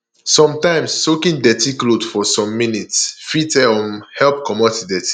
sometimes soaking dirty cloth for some minutes fit um help comot di dirty